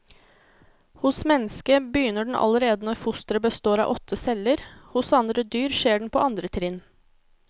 Hos mennesket begynner den allerede når fosteret består av åtte celler, hos andre dyr skjer den på andre trinn.